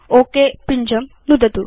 okay पिञ्जं नुदतु